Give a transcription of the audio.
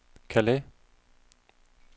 Calais